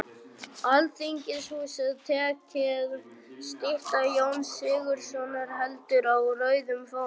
Alþingishúsið tekið, stytta Jóns Sigurðssonar heldur á rauðum fána